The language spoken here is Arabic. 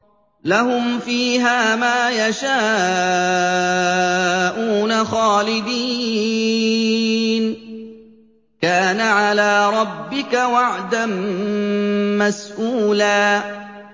لَّهُمْ فِيهَا مَا يَشَاءُونَ خَالِدِينَ ۚ كَانَ عَلَىٰ رَبِّكَ وَعْدًا مَّسْئُولًا